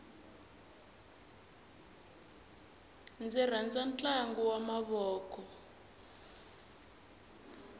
ndzi rhandza ntlangu wa mavoko